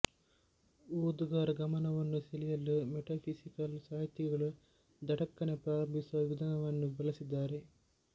ಓದುಗರ ಗಮನವನ್ನು ಸೆಳೆಯಲು ಮೆಟಫಿಸಿಕಲ್ ಸಾಹಿತಿಗಳು ಥಟಕ್ಕನೆ ಪ್ರಾರಂಭಿಸುವ ವಿಧಾನವನ್ನು ಬಳಸಿದ್ದಾರೆ